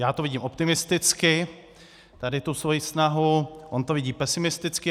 Já to vidím optimisticky, tady tu svoji snahu, on to vidí pesimisticky.